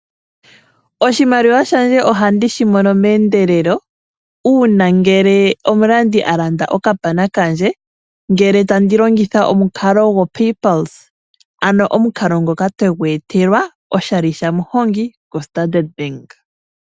Oshimaliwa shandje ohandishi mono meendelelo uuna omulandi alanda okapana kandje ngele tangi longitha omukalo gwo paypulse, ano omukalo ngoka twegu etelwa oshali shamuhongi koStandard Bank.